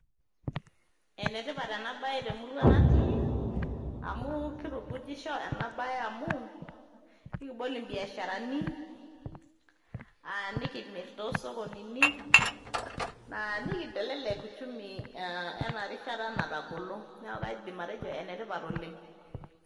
Enetipat ena bae temurua natii amu keitukujisho ena bae amu, ekibol imbiasharani, nikimirr toosokonini nikintelelek uchumi ena rishata natagolo. Neeku kaidim atejo enetipat oleng'.